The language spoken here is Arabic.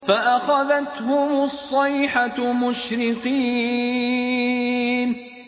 فَأَخَذَتْهُمُ الصَّيْحَةُ مُشْرِقِينَ